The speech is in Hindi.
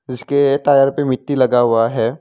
जिसके ए टायर पे मिट्टी लगा हुआ है।